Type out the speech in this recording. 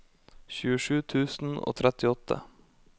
tjuesju tusen og trettiåtte